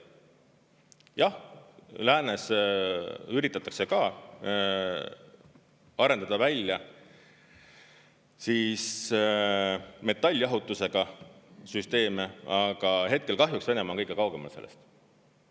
Jah, läänes üritatakse ka arendada välja metalljahutusega süsteeme, aga hetkel kahjuks Venemaa on kõige kaugemal sellest.